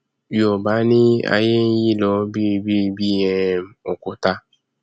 yoòbá ní aiyé nyí lọ biribiri bí um òkúta